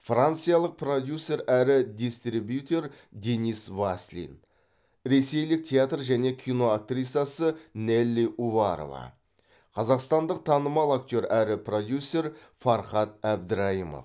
франциялық продюсер әрі дистрибьютер денис васлин ресейлік театр және кино актрисасы нелли уварова қазақстандық танымал актер әрі продюсер фархат әбдірайымов